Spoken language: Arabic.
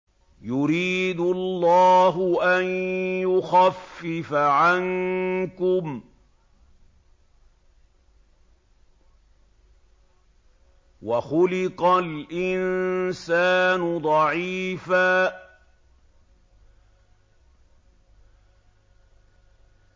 يُرِيدُ اللَّهُ أَن يُخَفِّفَ عَنكُمْ ۚ وَخُلِقَ الْإِنسَانُ ضَعِيفًا